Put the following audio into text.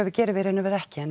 gerum við í raun og veru ekki en